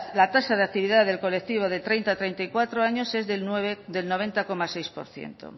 la tasa de actividad del colectivo de treinta a treinta y cuatro años es del noventa coma seis por ciento